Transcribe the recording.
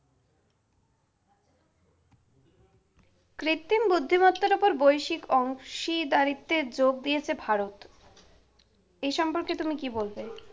কৃত্রিম বুদ্ধিমত্তার উপর বৈশ্বিক অংশীদারিত্বে যোগ দিয়েছে ভারত। এ সম্পর্কে তুমি কি বলবে?